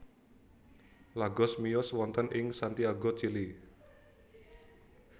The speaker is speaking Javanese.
Lagos miyos wonten ing Santiago Chili